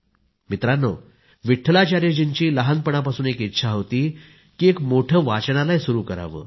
मित्रांनो विट्ठलाचार्यजींची लहानपणापासून एक इच्छा होती की एक मोठं वाचनालय सुरु करावं